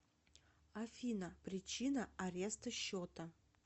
афина причина ареста счета